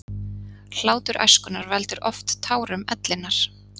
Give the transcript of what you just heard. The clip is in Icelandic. Hlátur æskunnar veldur oft tárum ellinnar.